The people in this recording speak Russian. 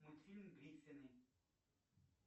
мультфильм гриффины